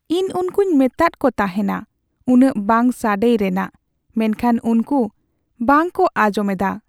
ᱤᱧ ᱩᱱᱠᱩᱧ ᱢᱮᱛᱟᱫ ᱠᱚ ᱛᱟᱦᱮᱸᱱᱟ ᱩᱱᱟᱹᱜ ᱵᱟᱝ ᱥᱟᱰᱮᱭ ᱨᱮᱱᱟᱜ, ᱢᱮᱱᱠᱷᱟᱱ ᱩᱱᱠᱩ ᱵᱟᱝᱠᱚ ᱟᱸᱡᱚᱢ ᱮᱫᱟ ᱾